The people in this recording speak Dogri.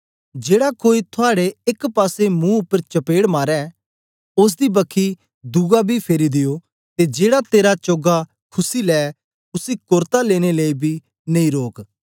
जेड़ा कोई थुआड़े एक पासे महू उपर चपेड़ मारे ओसदी बक्खी दुआ बी फेरी दियो ते जेड़ा तेरा चोगा खुस्सी लै उसी कोरता लेने लेई बी नेई रोक